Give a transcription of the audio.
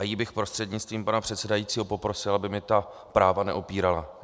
A ji bych prostřednictvím pana předsedajícího poprosil, aby mi ta práva neupírala.